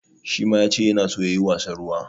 Shi ma ya ce yana so ya yi wasan ruwa.